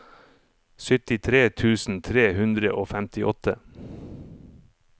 syttitre tusen tre hundre og femtiåtte